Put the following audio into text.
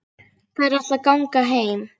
Þær ætla að ganga heim.